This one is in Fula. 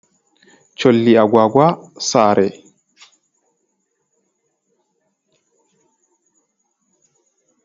Cholli agwagwa saare.